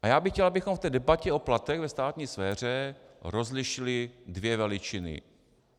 A já bych chtěl, abychom v té debatě o platech ve státní sféře rozlišili dvě veličiny.